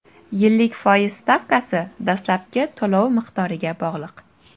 Yillik foiz stavkasi dastlabki to‘lov miqdoriga bog‘liq.